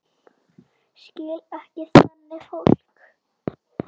Skil ekki þannig fólk.